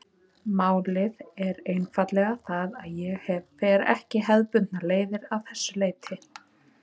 Málið er einfaldlega það að ég fer ekki hefðbundnar leiðir að þessu leyti.